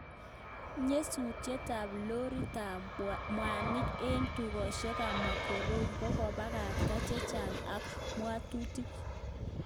Nyasutiet ap lorit ap kmwanik en tukoshiek ap morogoro kokopakacha chechang ak kamwatutik